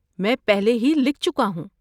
میں پہلے ہی لکھ چکا ہوں۔